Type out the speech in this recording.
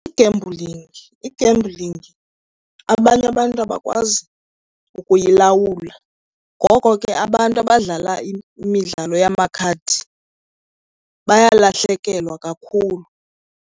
I-gambling, i-gambling abanye abantu abakwazi ukuyilawula, ngoko ke abantu abadlala imidlalo yamakhadi bayalahlekelwa kakhulu.